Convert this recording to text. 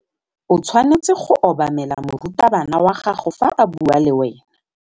O tshwanetse go obamela morutabana wa gago fa a bua le wena.